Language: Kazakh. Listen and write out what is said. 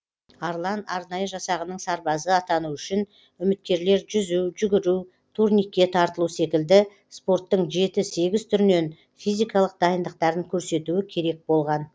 арлан арнайы жасағының сарбазы атану үшін үміткерлер жүзу жүгіру турникке тартылу секілді спорттың жеті сегіз түрінен физикалық дайындықтарын көрсетуі керек болған